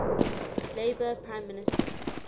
labour prime minister